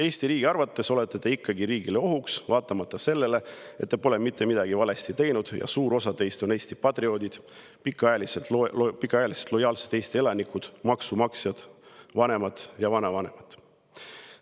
Eesti riigi arvates olete te ikkagi riigile ohuks, vaatamata sellele, et te pole mitte midagi valesti teinud ja suur osa teist on Eesti patrioodid, pikaajalised lojaalsed Eesti elanikud, maksumaksjad, vanemad ja vanavanemad.